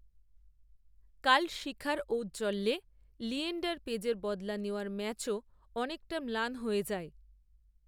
কাল শিখার, ঔজ্জ্বল্যে, লিয়েণ্ডার পেজের বদলা নেওয়ার ম্যাচও, অনেকটা ম্লান হয়ে যায়